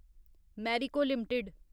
Marico limited